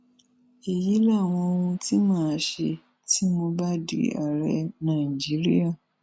èyí làwọn ohun tí mà á ṣe tí mo bá di ààrẹ nàìjíríà